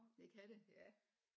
Det kan det ja